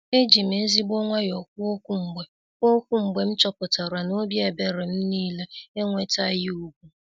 Ejim ezigbo nwayọ kwuo okwu mgbe kwuo okwu mgbe m chọpụtara n'obi ebere m niile enwetaghị ugwu.